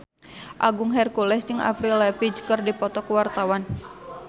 Agung Hercules jeung Avril Lavigne keur dipoto ku wartawan